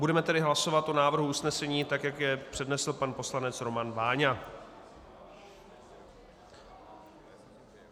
Budeme tedy hlasovat o návrh usnesení, tak jak jej přednesl pan poslanec Roman Váňa.